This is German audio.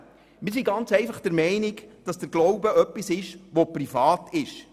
Wir sind ganz einfach der Meinung, dass der Glaube etwas Privates ist.